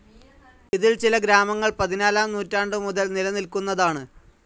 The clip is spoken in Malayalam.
ഇതിൽ ചില ഗ്രാമങ്ങൾ പതിനാലാം നൂറ്റാണ്ടുമുതൽ നിലനിൽക്കുന്നതാണ്.